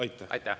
Aitäh!